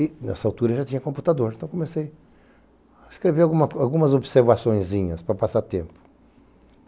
E nessa altura já tinha computador, então comecei a escrever algumas observações para passar tempo.